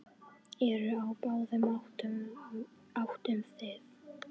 Eru á báðum áttum þið.